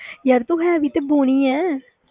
ਯਾਰ ਤੂੰ ਹੈ ਵੀ ਤੇ ਬੋਨੀ ਹੈ।